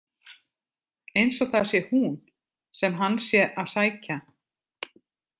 Eins og það sé hún sem hann sé að sækja.